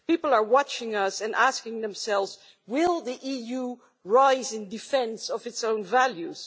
People are watching us and asking themselves, will the EU rise in defence of its own values?'